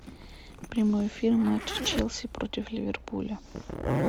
прямой эфир матча челси против ливерпуля